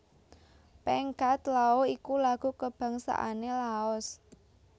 Pheng Xat Lao iku lagu kabangsané Laos